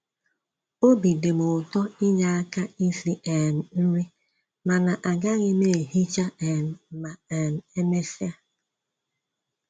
Obi dịm ụtọ inye aka isi um nri, mana agaghị m ehicha um ma um e mesịa